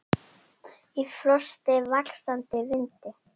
Í frosti, vaxandi vindi.